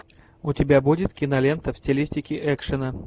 у тебя будет кинолента в стилистике экшена